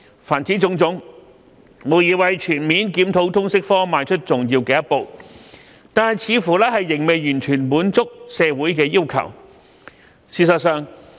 凡此種種，無疑為全面檢討通識科邁出重要的一步，但卻似乎仍未完全滿足社會要求。